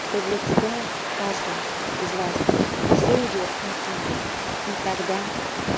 что для тебя каждого из вас всё идёт как надо и тогда